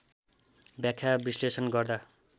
व्याख्या विश्लेषण गर्दा